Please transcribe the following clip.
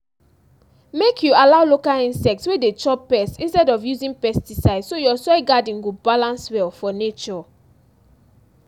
make you allow local insect wey dey chop pests instead of using pesticide so your soil garden go balance well for nature